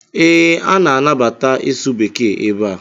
Ee, a na-anabata ịsụ bekee ebe a.